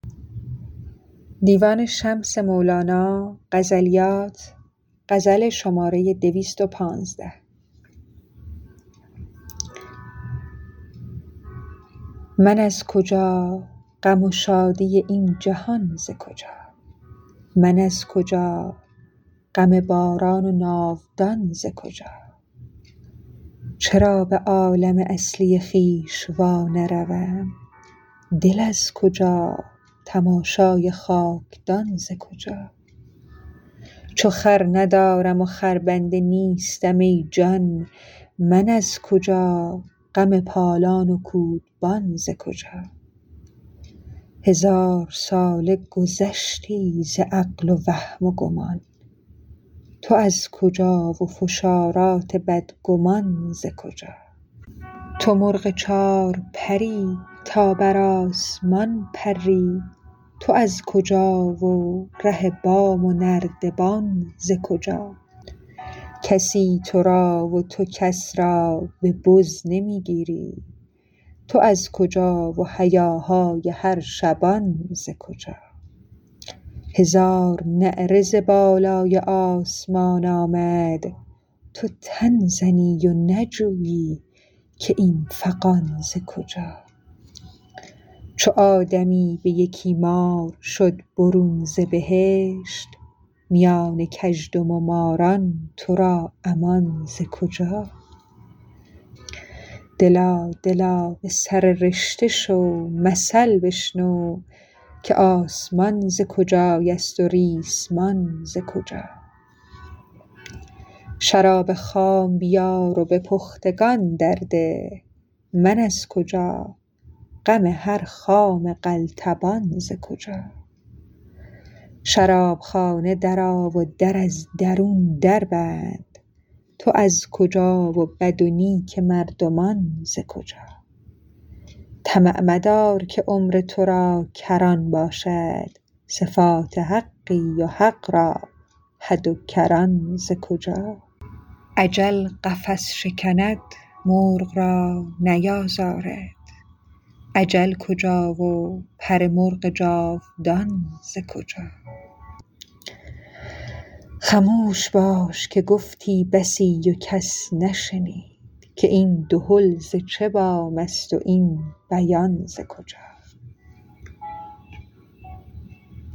من از کجا غم و شادی این جهان ز کجا من از کجا غم باران و ناودان ز کجا چرا به عالم اصلی خویش وانروم دل از کجا و تماشای خاک دان ز کجا چو خر ندارم و خربنده نیستم ای جان من از کجا غم پالان و کودبان ز کجا هزار ساله گذشتی ز عقل و وهم و گمان تو از کجا و فشارات بدگمان ز کجا تو مرغ چار پر ی تا بر آسمان پری تو از کجا و ره بام و نردبان ز کجا کسی تو را و تو کس را به بز نمی گیری تو از کجا و هیاهای هر شبان ز کجا هزار نعره ز بالای آسمان آمد تو تن زنی و نجویی که این فغان ز کجا چو آدمی به یکی مار شد برون ز بهشت میان کژدم و ماران تو را امان ز کجا دلا دلا به سر رشته شو مثل بشنو که آسمان ز کجایست و ریسمان ز کجا شراب خام بیار و به پختگان درده من از کجا غم هر خام قلتبان ز کجا شراب خانه درآ و در از درون دربند تو از کجا و بد و نیک مردمان ز کجا طمع مدار که عمر تو را کران باشد صفات حقی و حق را حد و کران ز کجا اجل قفس شکند مرغ را نیازارد اجل کجا و پر مرغ جاودان ز کجا خموش باش که گفتی بسی و کس نشنید که این دهل ز چه بام ست و این بیان ز کجا